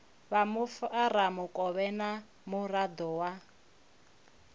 vha mufaramukovhe na muraḓo wa